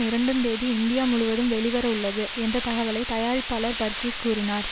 இரண்டு தேதி இந்தியா முழுவதும் வெளிவரவுள்ளது என்ற தகவலை தயாரிப்பாளர் பர்கீஸ் கூறினார்